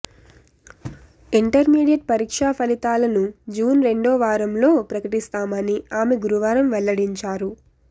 intermediate పరీక్షా ఫలితాలను June రెండో వారంలో ప్రకటిస్తామని ఆమె గురువారం వెల్లడించారు